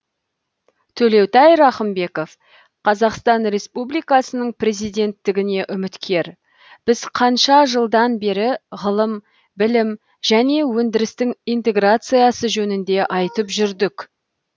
төлеутай рақымбеков қазақстан республикасының президенттігіне үміткер біз қанша жылдан бері ғылым білім және өндірістің интеграциясы жөнінде айтып жүрдік